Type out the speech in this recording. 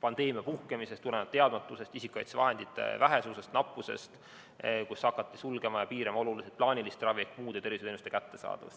pandeemia puhkemisest, teadmatusest ja isikukaitsevahendite nappusest tuli hakata piirama ja sulgema plaanilist ravi ehk vähendama muude tervishoiuteenuste kättesaadavust.